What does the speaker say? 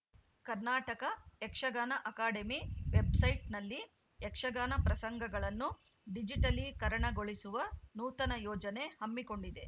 Karnataka Yakshagana academy ವೆಬ್‌ಸೈಟ್‌ನಲ್ಲಿ ಯಕ್ಷಗಾನ ಪ್ರಸಂಗಗಳನ್ನು ಡಿಜಿಟಲೀಕರಣಗೊಳಿಸುವ ನೂತನ ಯೋಜನೆ ಹಮ್ಮಿಕೊಂಡಿದೆ